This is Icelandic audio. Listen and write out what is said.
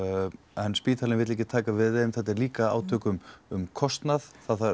en spítalinn vill ekki taka við þeim þetta er líka átök um um kostnað